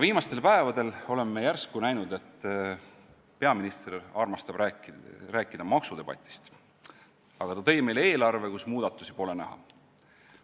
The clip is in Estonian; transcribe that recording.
Viimastel päevadel oleme me järsku näinud, et peaminister armastab rääkida maksudebatist, aga ta tõi meile eelarve, kus muudatusi pole näha.